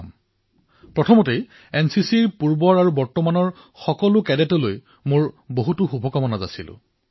সবাতোকৈ প্ৰথমে এনচিচিৰ সকলো পূৰ্বৰ তথা বিদ্যমান কেডেটসকলক এনচিচি দিৱসৰ অশেষ শুভকামনা যাচিছো